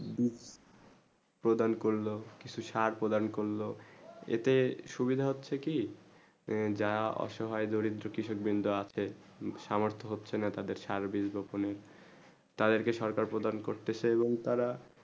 প্রদান করলো কিছু চার প্রদান করলো যেতে সুবিধা হচ্ছেই কি যা অসহায় দরিদ কৃষক বিন্দু রা আছে সামর্থ হচ্ছেই না তাদের চার বেশি পক্ষ নেই তাদের কে সরকার প্রদান করতেছে এবং তারা